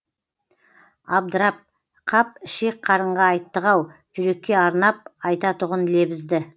абдырап қап ішек қарынға айттық ау жүрекке арнап айтатұғын лебізді